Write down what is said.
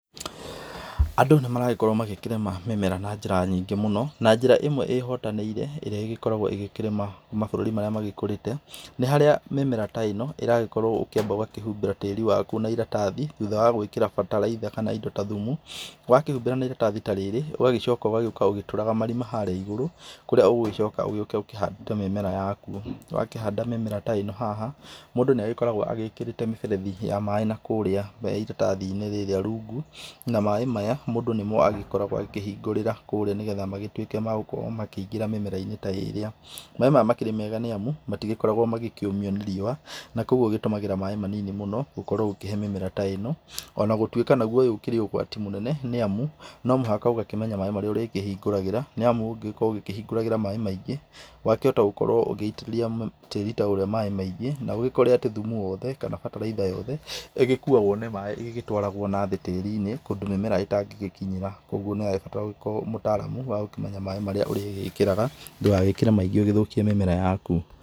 Andũ nĩmaragĩkorwo makĩrĩma mimera na njĩra nyingĩ mũno. Na njĩra ĩmwe ĩhotanĩire ĩrĩa ĩgĩkoragwo ĩgĩkĩrĩma mabũrũri marĩa magĩkũrĩte, nĩ harĩa mĩmera ta ĩno ĩrakorwo ũgakĩamba ũgakĩhumbira tĩĩri waku na iratathi thutha wa gwĩkĩra bataraitha kana indo ta thumu. Wakĩhumbĩra na iratathi ta rĩrĩ, ũgacoka ũgoka ũgĩtũraga marima harĩa igũrũ kũrĩa ũgũgĩcoka ũke ũkĩhandaga mĩmera yaku. Wakĩhanda mĩmera ta ĩno haha, mũndũ nĩ agĩkoragwo ekĩrĩte mĩberethi ya maĩ na kũrĩa iratathi-inĩ rĩrĩa rungu. Na maĩ maya, nĩmo mũndũ agĩkoragwo akĩhingũrĩra kũrĩa nĩguo matuĩka ma gũkorwo makĩingĩra mĩmera-inĩ ta ĩrĩa. Maĩ maya makoragwo me mega nĩ amu matigĩkoragwo makĩũmio nĩ riũa, na koguo ũgĩtũmagĩra maĩ manini mũno gũkorwo ũkĩhe mĩmera ta ĩno. Ona gũtuĩka ũyũ ũkĩrĩ o ũgwati mũnene nĩ amu nomũhaka ũkorwo ũkĩmenya maĩ marĩa ũrakorwo ũkĩhingũragĩra, nĩ amu ũngĩkorwo ũgĩ kĩhingũragĩra maĩ maingĩ wakĩhota gũkorwo ũgĩitĩrĩria tĩĩri ta ũrĩa maĩ maingĩ na ũgĩkorwo atĩ thumu wothe kana bataraitha yothe ĩgĩkuagwo nĩ maĩ ĩgigĩtwarwogwo thĩ tĩĩri-ini kũrĩa mĩmera ĩtangĩgĩkinyĩra. Koguo nĩũrabatara ũgĩkorwo wĩ mũtaramu wa gũkĩmenya maĩ marĩa ũrĩgĩkĩraga ndũgagĩkĩre maingĩ ũgĩthũkie mĩmera yaku.